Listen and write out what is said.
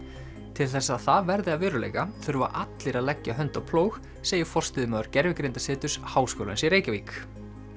til þess að það verði að veruleika þurfa allir að leggja hönd á plóg segir forstöðumaður Háskólans í Reykjavík